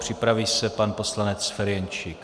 Připraví se pan poslanec Ferjenčík.